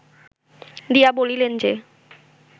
দিয়া বলিলেন যে